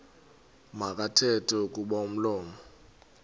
makathethe kuba umlomo